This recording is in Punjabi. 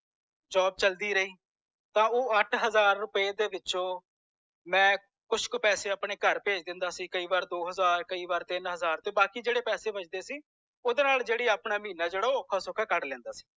job ਚਲਦੀ ਰਹੀ ਤਾਂ ਉਹ ਅੱਠ ਹਜ਼ਾਰ ਰੁਪਏ ਦੇ ਵਿਚੌਂ ਮੈ ਕੁਛ ਕ ਪੈਸੇ ਆਪਣੇ ਘਰ ਭੇਜ ਦੇਂਦਾ ਸੀ ਕੀਈ ਵਾਰ ਦੋ ਹਜ਼ਾਰ ਕਯੀ ਵਾਰ ਤੀਨ ਹਜ਼ਾਰ ਤੇ ਬਾਕੀ ਜੇਡੇ ਪੈਸੇ ਵਚਦੇ ਸੀ ਓਦੇ ਨਾਲ ਜੇੜਾ ਉਖਾ ਸੌਖਾ ਮੈਂ ਆਪਣਾ ਮਹੀਨਾ ਜੇਦਾ ਸੀ ਓਹ ਕਢ ਲੈਂਦਾ ਸੀ